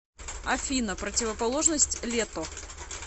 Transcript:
афина противоположность лето